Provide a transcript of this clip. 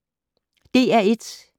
DR1